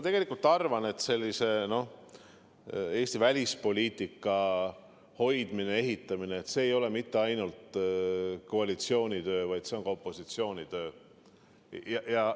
Tegelikult ma arvan, et Eesti välispoliitika hoidmine ja ehitamine ei ole mitte ainult koalitsiooni töö, vaid see on ka opositsiooni töö.